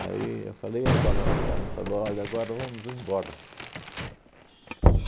eu falei, e agora? Ela falou, olha, agora vamos embora.